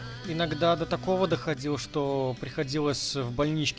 иногда до такого доходил что приходилось в больничке